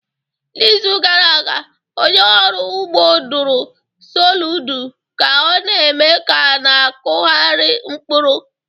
N'izu gara aga, onye ọrụ ugbo dụrụ Soludo ka ọ na-eme ka ọ na-akụgharị mkpụrụ